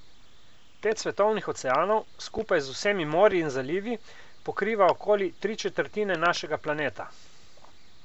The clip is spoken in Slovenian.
Pet svetovnih oceanov, skupaj z vsemi morji in zalivi, pokriva okoli tri četrtine našega planeta.